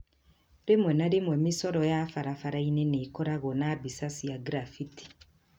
Rĩmwe na rĩmwe mĩcoro ya barabara-inĩ nĩ ĩkoragwo na mbica cia graffiti.